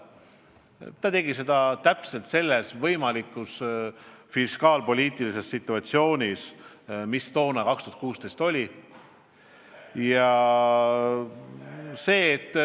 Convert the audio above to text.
Ta tegi seda just selles fiskaalpoliitilises situatsioonis, mis toona, aastal 2016 oli.